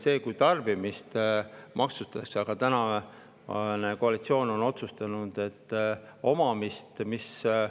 See on loogiline, kui maksustatakse tarbimist, aga tänane koalitsioon on otsustanud omamist.